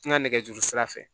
N ka nɛgɛjuru sira fɛ